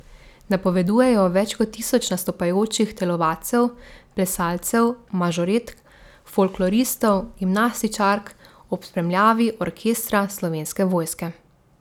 Napovedujejo več kot tisoč nastopajočih telovadcev, plesalcev, mažoretk, folkloristov, gimnastičark, ob spremljavi orkestra slovenske vojske.